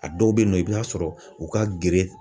A dɔw bɛ yen nɔ i bɛ t'a sɔrɔ u ka gere.